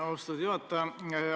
Austatud juhataja!